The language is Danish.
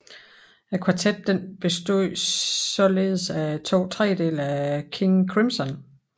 Kvartetten bestod således af to trediedele af King Crimson